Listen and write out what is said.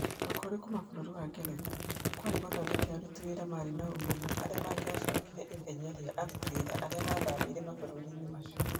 Ũkũũri kuuma kũrĩ bũrũri wa Ngeretha, kĩarĩ gũthondeka aruti wĩra marĩ na ũmenyeru arĩa mangĩacokire ithenya rĩa aruti wĩra arĩa maathamĩire mabũrũri-inĩ macio